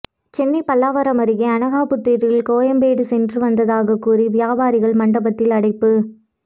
சென்னை பல்லாவரம் அருகே அனகாபுத்தூரில் கோயம்பேடு சென்று வந்ததாக கூறி வியாபாரிகள் மண்டபத்தில் அடைப்பு